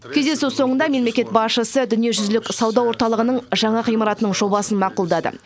кездесу соңында мемлекет басшысы дүниежүзілік сауда орталығының жаңа ғимаратының жобасын мақұлдады